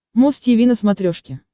муз тиви на смотрешке